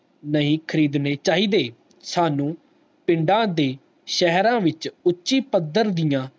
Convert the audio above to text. ਨਹੀਂ ਖਰੀਦਣੇ ਚਾਹੀਦੇ ਸਾਨੂ ਪਿੰਡ ਦੀ ਸ਼ਹਿਰਾਂ ਵਿਚ ਉੱਚੀ ਪੱਧਰ ਦੀਆਂ